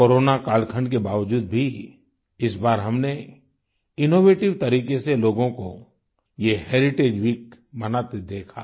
corona कालखंड के बावजूद भी इस बार हमने इनोवेटिव तरीके से लोगों को ये हेरिटेज वीक मनाते देखा